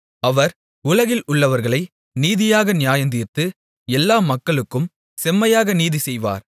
அவர் உலகில் உள்ளவர்களை நீதியாக நியாயந்தீர்த்து எல்லா மக்களுக்கும் செம்மையாக நீதிசெய்வார்